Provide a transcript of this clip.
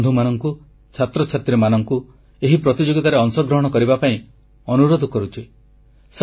ମୁଁ ଯୁବବନ୍ଧୁମାନଙ୍କୁ ଛାତ୍ରଛାତ୍ରୀମାନଙ୍କୁ ଏହି ପ୍ରତିଯୋଗିତାରେ ଅଂଶଗ୍ରହଣ କରିବା ପାଇଁ ଅନୁରୋଧ କରୁଛି